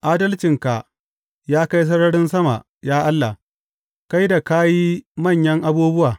Adalcinka ya kai sararin sama, ya Allah, kai da ka yi manyan abubuwa.